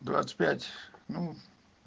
двадцать пять ну